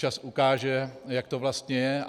Čas ukáže, jak to vlastně je.